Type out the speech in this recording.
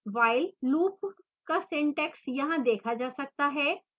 while loop का syntax यहाँ देखा जा सकता है